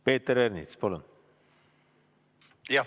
Peeter Ernits, palun!